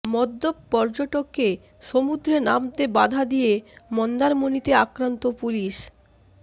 মদ্যপ পর্যটককে সমুদ্রে নামতে বাধা দিয়ে মন্দারমণিতে আক্রান্ত পুলিশ